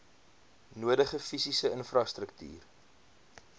nodige fisiese infrastruktuur